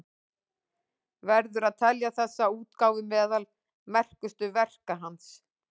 Verður að telja þessa útgáfu meðal merkustu verka hans.